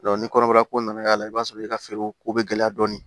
ni kɔnɔbara ko nana k'a la i b'a sɔrɔ i ka feere ko bɛ gɛlɛya dɔɔni